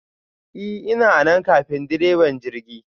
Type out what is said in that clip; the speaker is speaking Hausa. I ,ina anan ƙafin ɗireba jirgi!